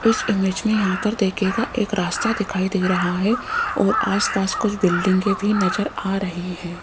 इस इमेज में यहां पर देखिएगा एक रास्ता दिखाई दे रहा है और आसपास कुछ बिल्डिंगें भी नजर आ रही है।